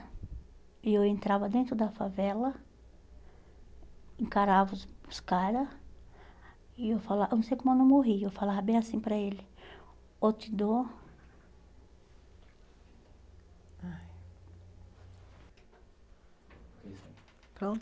E eu entrava dentro da favela, encarava os os cara, e eu falava, eu não sei como eu não morria, eu falava bem assim para ele, ou te dou... Pronto?